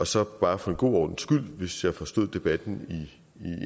så bare for en god ordens skyld hvis jeg har forstået debatten